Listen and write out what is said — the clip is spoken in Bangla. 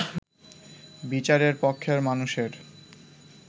বিচারের পক্ষের মানুষের